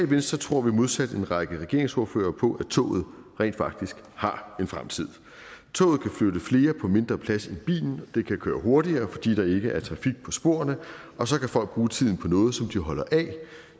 venstre tror vi modsat en række regeringsordførere på at toget rent faktisk har en fremtid toget kan flytte flere på mindre plads end bilen det kan køre hurtigere fordi der ikke er trafik på sporene og så kan folk bruge tiden på noget som de holder af